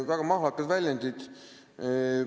Väga mahlakad väljendid!